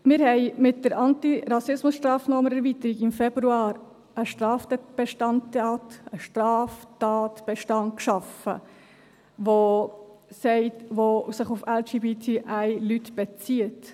Wir haben mit der Antirassismus-Sstrafnorm-Erweiterung einen Straftatbestand geschaffen, der sich auf LGBTI-Leute bezieht.